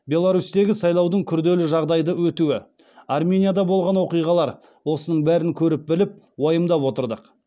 беларусьтегі сайлаудың күрделі жағдайды өтуі арменияда болған оқиғалар осының бәрін көріп біліп уайымдап отырдық